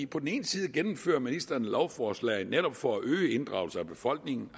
på den ene side gennemfører ministeren lovforslag netop for at øge inddragelsen af befolkningen